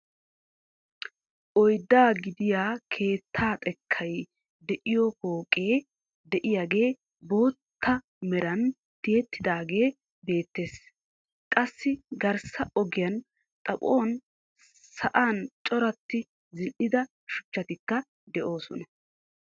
Oyddaa gidiyaa keettaa xekkay de'iyoo pooqe de'iyaagee bootta meran tiyettidagee beettees. qassi garssa ogiyaa xaphon sa'an coratti zini'ida shuchchatikka de'oosona.